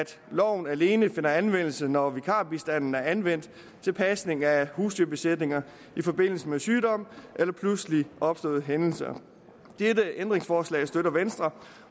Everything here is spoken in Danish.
loven alene finder anvendelse når vikarbistanden er anvendt til pasning af husdyrbesætninger i forbindelse med sygdom eller pludseligt opståede hændelser dette ændringsforslag støtter venstre